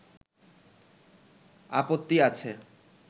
আপত্তি আছে